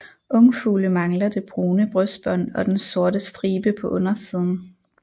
Ungfugle mangler det brune brystbånd og den sorte stribe på undersiden